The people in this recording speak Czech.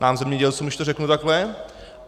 Nám zemědělcům, když to řeknu takhle.